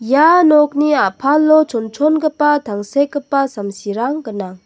ia nokni a·palo chonchongipa tangsekgipa samsirang gnang.